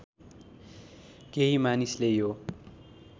केही मानिसले यो